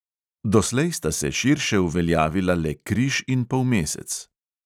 Doslej sta se širše uveljavila le križ in polmesec.